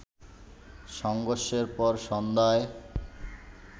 সংঘর্ষের পর সন্ধ্যায়